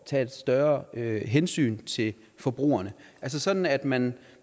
tage et større hensyn til forbrugerne altså sådan at man